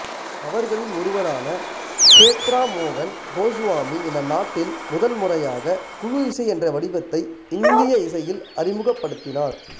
அவர்களில் ஒருவரான சேத்ரமோகன் கோசுவாமி இந்த நாட்டில் முதல்முறையாக குழு இசை என்ற வடிவத்தை இந்திய இசையில் அறிமுகப்படுத்தினார்